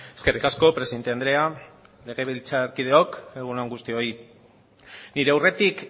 eskerrik asko presidente andrea legebiltzarkideok egun on guztioi nire aurretik